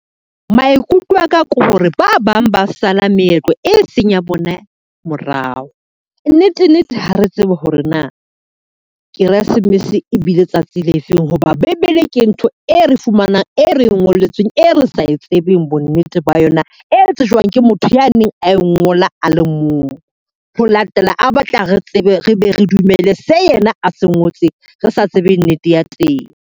Maikutlo aka ke hore ba bang ba sa la meetlo e seng ya bona morao. Nnete nnete ha re tsebe hore na Keresemese ebile tsatsi le feng. Hoba Bebele ke ntho e re fumanang, e re ngolletsweng, e re sa e tsebeng bo nnete ba yona e tsejwang ke motho ya neng a e ngola a le mong ho latela a batla re tsebe re be re dumelle se yena a se ngotseng. Re sa tsebe nnete ya teng.